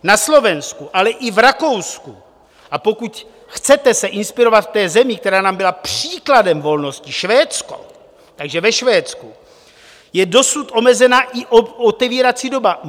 Na Slovensku, ale i v Rakousku, a pokud chcete se inspirovat v té zemi, která nám byla příkladem volnosti, Švédsko, takže ve Švédsku je dosud omezena i otevírací doba.